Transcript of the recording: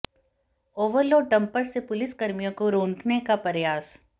overload dumper से police कर्मियों को रौंदने का प्रयास